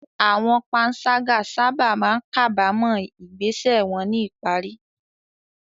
Àwọn panṣágà sábà máa ń kábàámọ̀ ìgbésẹ̀ wọn ní ìparí.